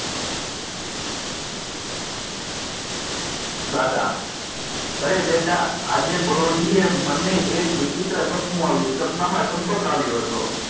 દાદા અરે બેટા આજ પરોઢિયે મને એક વિચિત્ર સપનું આવ્યું સપના માં ચંપક આવ્યો હતો.